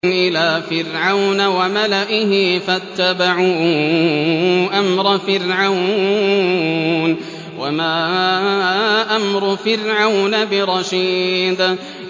إِلَىٰ فِرْعَوْنَ وَمَلَئِهِ فَاتَّبَعُوا أَمْرَ فِرْعَوْنَ ۖ وَمَا أَمْرُ فِرْعَوْنَ بِرَشِيدٍ